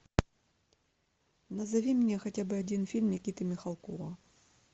назови мне хотя бы один фильм никиты михалкова